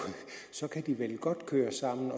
så kan de vel godt køre sammen